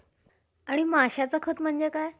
आणि माश्याचं खत म्हणजे काय?